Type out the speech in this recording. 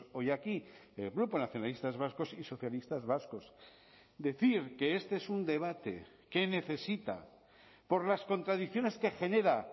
hoy aquí el grupo nacionalistas vascos y socialistas vascos decir que este es un debate que necesita por las contradicciones que genera